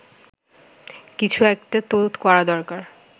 কিছু একটা তো করা দরকার